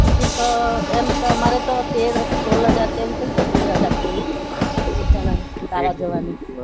ticket તો એમ તો મારે તો તેર સોળ હાજર કે એવી કૈંક થઇ તેર હાજર જેવી એક જણાની